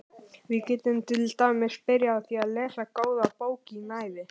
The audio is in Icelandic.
Við getum til dæmis byrjað á því að lesa góða bók í næði.